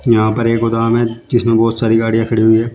यहां पर एक गोदाम है जिसमें बहोत सारी गाड़ियां खड़ी हुई है।